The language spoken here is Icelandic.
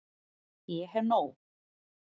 Ég hef nóg.